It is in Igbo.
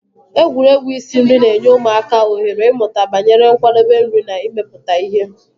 Egwuregwu isi nri na-enye ụmụaka ohere ịmụta banyere nkwadebe nri na imepụta ihe.